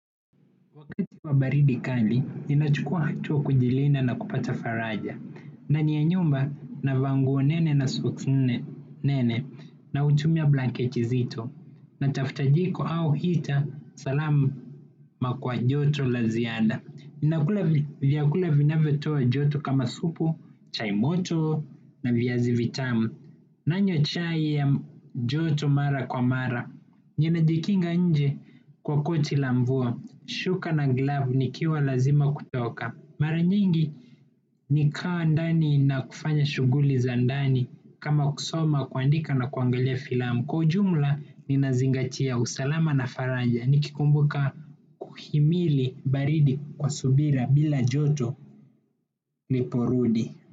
Wakati wa baridi kali, ninachukua hatua kujilinda na kupata faraja. Ndani ya nyumba navaa nguo nene na soksi nne nene na hutumia blanketi zito. Natafuta jiko au hita salama kwa joto la ziada. Ninakula vyakula vinavyotoa joto kama supu, chai moto na viazi vitamu. Nanywa chai ya joto mara kwa mara. Ninajikinga nje kwa koti la mvua, shuka na glavu nikiwa lazima kutoka. Mara nyingi nikawa ndani na kufanya shughuli za ndani kama kusoma kuandika na kuangalia filamu. Kwa ujumla ninazingatia usalama na faraja nikikumbuka kuhimili baridi kwa subira bila joto niporudi.